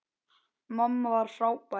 Mamma var frábær.